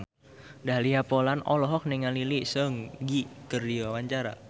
Dahlia Poland olohok ningali Lee Seung Gi keur diwawancara